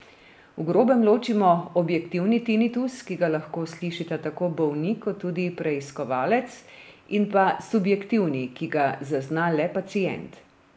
V grobem ločimo objektivni tinitus, ki ga lahko slišita tako bolnik kot tudi preiskovalec, in pa subjektivni, ki ga zazna le pacient.